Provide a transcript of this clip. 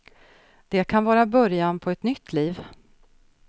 Det kan vara början på ett nytt liv.